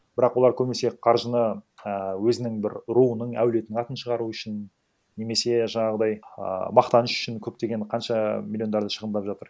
бірақ олар көбінесе қаржыны і өзінің бір руының әулетінің атын шығару үшін немесе жаңағыдай ааа мақтаныш үшін көптеген қанша миллиондарды шығындап жатыр